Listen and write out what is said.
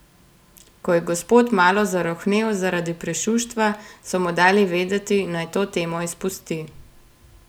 Ko je gospod malo zarohnel zaradi prešuštva, so mu dali vedeti, naj to temo izpusti.